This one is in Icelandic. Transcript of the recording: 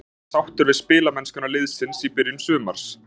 Hefur þú verið sáttur við spilamennskuna liðsins í byrjun sumars?